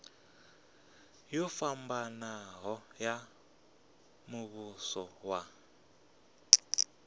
yo fhambanaho ya muvhuso wa